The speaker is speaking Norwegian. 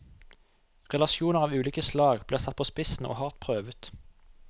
Relasjoner av ulike slag blir satt på spissen og hardt prøvet.